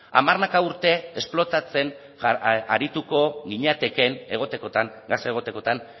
hamarnaka urte esplotatzen arituko ginatekeen egotekotan gasa egotekotan